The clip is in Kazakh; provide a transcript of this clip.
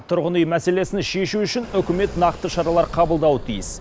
тұрғын үй мәселесін шешу үшін үкімет нақты шаралар қабылдауы тиіс